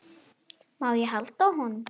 Má ég halda á honum?